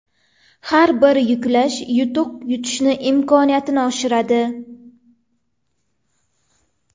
Har bir yuklash yutuq yutish imkoniyatini oshiradi.